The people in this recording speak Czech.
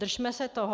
Držme se toho.